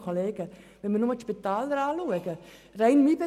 Betrachten wir nur schon die Spitäler oder meinen Betrieb: